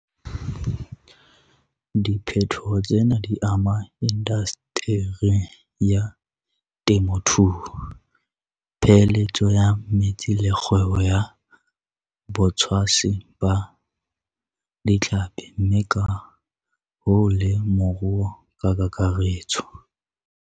Diphetoho tsena di ama indaseteri ya temothuo, peeheletso ya metsi le kgwebo ya botshwasi ba ditlhapi mme ka hoo le moruo ka kakaretso.